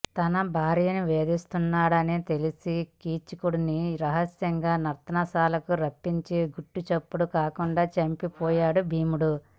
తన భార్యను వేధిస్తు న్నాడని తెలిసి కీచకుడిని రహస్యంగా నర్తనశాలకు రప్పించి గుట్టు చప్పుడు కాకుండా చంపి పోయాడు భీముడు